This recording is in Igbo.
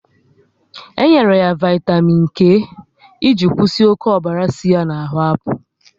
E nyere ya vaitamịn E iji kwụsị oké ọbara si ya na ahụ apụ